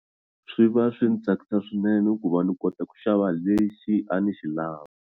Swi va swi ni tsakisa swinene ku va ni kota ku xava lexi a ni xi lava.